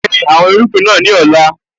Gbin àwọn irúgbìn náà ní ọ̀la.